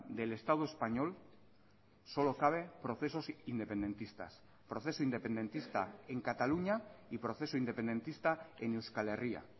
del estado español solo cabe procesos independentistas proceso independentista en cataluña y proceso independentista en euskal herria